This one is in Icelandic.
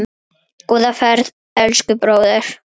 Góða ferð, elsku bróðir.